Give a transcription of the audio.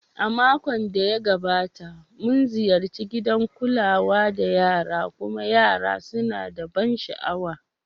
Makon da ya gabata, mun ziyarci gidan kula da yara kuma yara suna da ban sha'awa.